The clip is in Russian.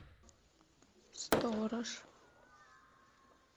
сторож